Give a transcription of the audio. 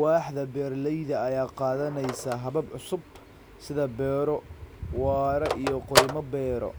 Waaxda beeralayda ayaa qaadanaysa habab cusub, sida beero waara iyo kaymo-beero,